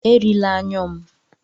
Erila anyụ m!